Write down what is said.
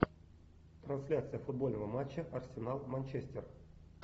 трансляция футбольного матча арсенал манчестер